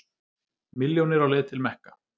Milljónir á leið til Mekka